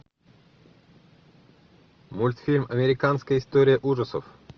мультфильм американская история ужасов